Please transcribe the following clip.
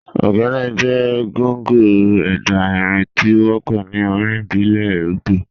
Ogene jẹ̀ gọ̀ngọ̀ ẹdá irin tí o wọpọ̀ ní orin ìbílẹ̀ Ìgbò.